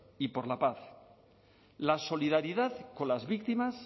y por la paz la solidaridad con las víctimas